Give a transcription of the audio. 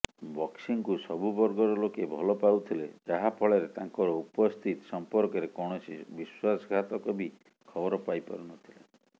ବକ୍ସିଙ୍କୁ ସବୁ ବର୍ଗର ଲୋକେ ଭଲପାଉଥିଲେ ଯାହାଫଳରେ ତାଂକର ଉପସ୍ଥିତି ସଂପର୍କରେ କୌଣସି ବିଶ୍ବାସଘାତକ ବି ଖବର ପାଇପାରୁନଥିଲେ